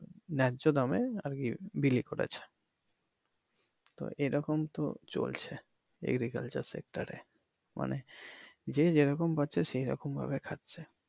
ন্যায্য দামে আর কি বিলি করেছে তো এইরকম তো চলছে agricultural sector এ মানে যে যেরকম পারছে সে সেরকম খাচ্ছে